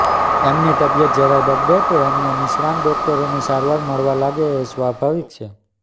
એમની તબિયત જરાય બગડે તો એમને નિષ્ણાત ડોક્ટરોની સારવાર મળવા લાગે એ સ્વાભાવિક છે